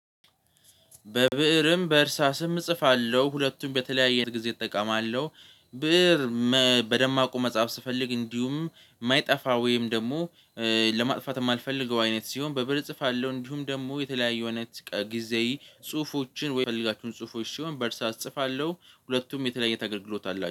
በብእርም በእርሳስም እጽፋለሁ ሁለቱም በተለያየ ጊዜ እጠቀማለሁ። ብእር በደማቁ መጻፍ ስፈልግ እንዲሁም የማይጠፋ ወይም ደግሞ ለማጥፋት የማልፈልገው አይነት ሲሆን በብር እጽፋለሁ። እንዲሁም ደግሞ የተለያዩ አይነት ጊዜ ጽሁፎችን ወይ የምፈለጋችሁን ጽሁፎች ሲሆን በእርሳት እጽፋለሁ ሁለቱም የተለያየ አይነት አገለግሎት አላቸው።